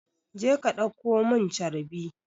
Je ki ɗauko mun carbi!